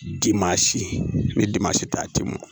Di maa si bɛ ta a tɛ mɔn